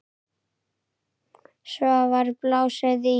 Svo var blásið í.